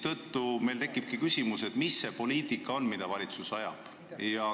Nii meil tekibki küsimus, mis poliitikat valitsus ikkagi ajab.